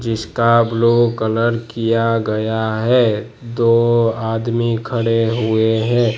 जिसका blue colour किया गया है दो आदमी खड़े हुए हैं।